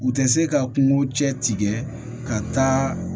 U tɛ se ka kungo cɛ tigɛ ka taa